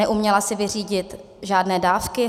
Neuměla si vyřídit žádné dávky.